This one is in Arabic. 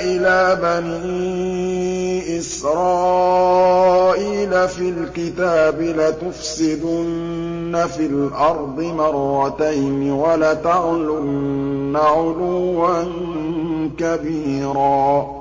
إِلَىٰ بَنِي إِسْرَائِيلَ فِي الْكِتَابِ لَتُفْسِدُنَّ فِي الْأَرْضِ مَرَّتَيْنِ وَلَتَعْلُنَّ عُلُوًّا كَبِيرًا